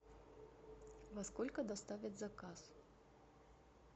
во сколько доставят заказ